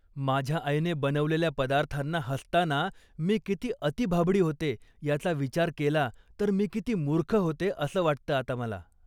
माझ्या आईने बनवलेल्या पदार्थांना हसताना मी किती अतिभाबडी होते याचा विचार केला तर मी किती मूर्ख होते असं वाटतं आता मला.